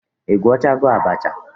I gwochago abacha?